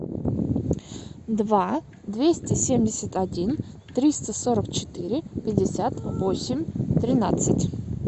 два двести семьдесят один триста сорок четыре пятьдесят восемь тринадцать